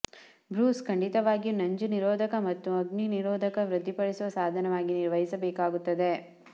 Bruce ಖಂಡಿತವಾಗಿಯೂ ನಂಜುನಿರೋಧಕ ಮತ್ತು ಅಗ್ನಿ ನಿರೋಧಕ ವೃದ್ಧಿಸುವ ಸಾಧನವಾಗಿ ನಿರ್ವಹಿಸಬೇಕಾಗುತ್ತದೆ